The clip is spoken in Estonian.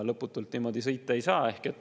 Lõputult niimoodi sõita ei saa.